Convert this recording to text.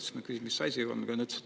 Siis ma küsisin, mis siis nüüd on.